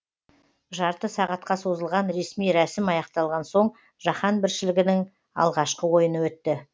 жарты сағатқа созылған ресми рәсім аяқталған соң жаһан біріншілігінің алғашқы ойыны өтті